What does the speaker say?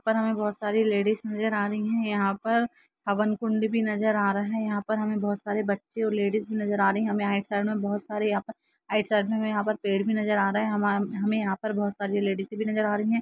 और हमें बहुत सारी लेडीज़ नजर आ रही है यहां पर हवन कुंड भी नजर आ रहा है यहां पर हमें बहुत सारे बच्चे और लेडीज़ नजर आ रही है हमें राइट में बहुत सारे यहां पर राइट साइड में यहां पर पेड़ भी नजर आ रहे है हमें हमे यहां पर बहुत सारी लेडीज भी नजर आ रही है।